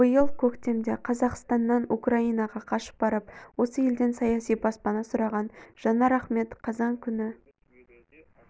биыл көктемде қазақстаннан украинаға қашып барып осы елден саяси баспана сұраған жанар ахмет қазан күні